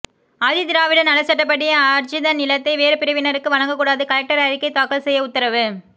ஆதிதிராவிடர் நலச்சட்டப்படி ஆர்ஜித நிலத்தை வேறு பிரிவினருக்கு வழங்கக்கூடாது கலெக்டர் அறிக்கை தாக்கல் செய்ய உத்தரவு